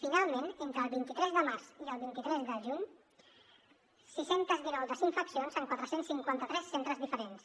finalment entre el vint tres de març i el vint tres de juny sis cents i dinou desinfeccions en quatre cents i cinquanta tres centres diferents